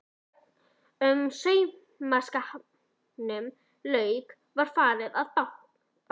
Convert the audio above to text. Þegar saumaskapnum lauk var farið að baka.